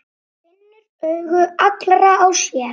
Finnur augu allra á sér.